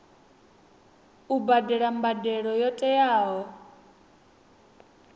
u badela mbadelo yo teaho